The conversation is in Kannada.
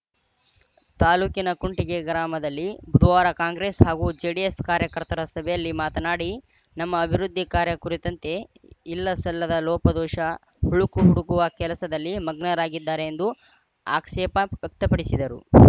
ತಾಲೂಕಿನ ಕುಂಟಿಗೆ ಗ್ರಾಮದಲ್ಲಿ ಬುಧವಾರ ಕಾಂಗ್ರೆಸ್‌ ಹಾಗೂ ಜೆಡಿಎಸ್‌ ಕಾರ್ಯಕರ್ತರ ಸಭೆಯಲ್ಲಿ ಮಾತನಾಡಿ ನಮ್ಮ ಅಭಿವೃದ್ಧಿ ಕಾರ್ಯ ಕುರಿತಂತೆ ಇಲ್ಲ ಸಲ್ಲದ ಲೋಪದೋಷ ಹುಳುಕು ಹುಡುಕುವ ಕೆಲಸದಲ್ಲಿ ಮಗ್ನರಾಗಿದ್ದಾರೆ ಎಂದು ಆಕ್ಷೇಪ ವ್ಯಕ್ತಪಡಿಸಿದರು